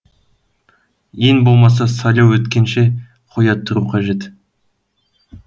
ең болмаса сайлау өткенше қоя тұру қажет